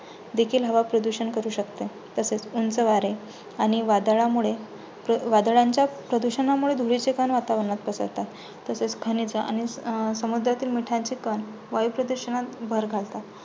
देखील हवाप्रदूषण करू शकते. तसेच उंच वारे आणि वादळामुळे वादळांच्या प्रदूषणामुळे धुळीचे कण वातावरणात पसरतात. तसेच खनिज आणि अं समुद्रातील मिठाचे कण वायुप्रदूषणात भर घालतात.